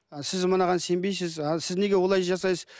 сіз мынаған сенбейсіз ал сіз неге олай жасайсыз